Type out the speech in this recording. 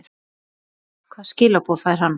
Gunnar: Hvaða skilaboð fær hann?